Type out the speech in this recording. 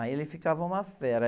Aí ele ficava uma fera.